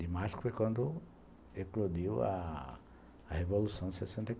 Dimasco foi quando eclodiu a a Revolução de sessenta